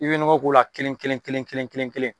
I bɛ nɔgɔ k'o la kelen kelen kelen kelen kelen.